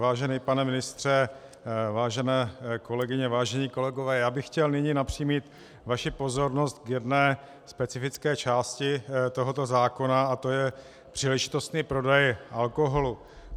Vážený pane ministře, vážené kolegyně, vážení kolegové, já bych chtěl nyní napřímit vaši pozornost k jedné specifické části tohoto zákona a to je příležitostný prodej alkoholu.